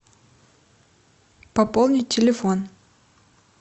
пополнить телефон